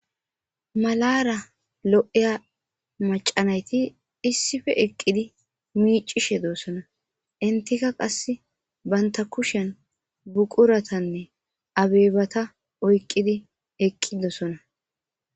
Malara lo'iya mac'a nayti issipe eqidi mic'ishe de'osona entika qase banta kushen buquratanne abebata oyqidosona.